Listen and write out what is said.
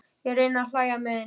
Ég reyni að hlæja með henni.